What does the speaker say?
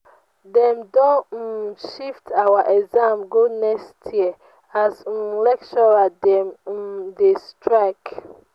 dem don um shift our exam go next year as um lecturer dem um dey strike.